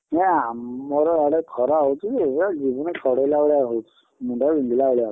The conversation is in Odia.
ନାଁ ଆମର ଆଡେ ଖରା ହଉଛି ଯେ, ପୁରା ଜୀବନ ଛାଡ଼େଇଲା ଭଳିଆ ହଉଛି ମୁଣ୍ଡ ବିନ୍ଧିଲା ଭଳିଆ।